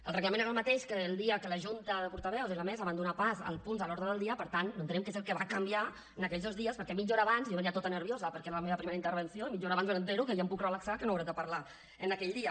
el reglament era el mateix que el dia que la junta de portaveus i la mesa van donar pas als punts a l’ordre del dia per tant no entenem què és el que va canviar en aquells dos dies perquè mitja hora abans jo venia tota nerviosa perquè era la meva primera intervenció i mitja hora abans m’assabento que ja em puc relaxar que no hauré de parlar aquell dia